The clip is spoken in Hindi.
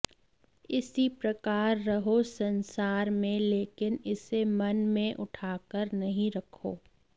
इसी प्रकार रहो संसार में लेकिन इसे मन में उठाकर नहीं रखो